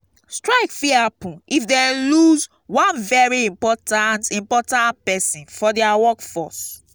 strike fit happen if dem loose one very important important persin for their workforce